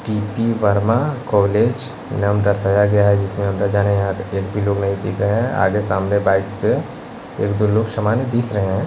TP Verma college नाम दर्शाया गया है जिसमें अंदर जाने यहां एक भी लोग नहीं देख गए हैं आगे सामने बाइक्स पे एक दो लोग समान दिख रहे हैं।